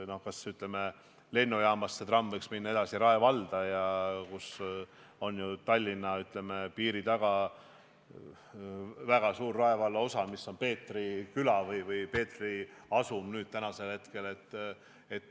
Aga ütleme, et lennujaamast võiks tramm minna edasi ka Rae valda, kohe Tallinna piiri taga on ju väga suur Peetri küla või Peetri asum.